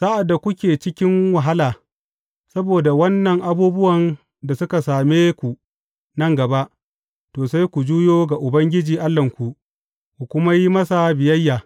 Sa’ad da kuke cikin wahala saboda waɗannan abubuwan da suka same ku nan gaba, to, sai ku juyo ga Ubangiji Allahnku, ku kuma yi masa biyayya.